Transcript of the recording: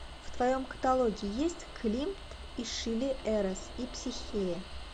в твоем каталоге есть климт и шиле эрос и психея